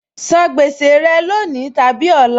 San gbèsè rẹ lónìí tàbí ọ̀la!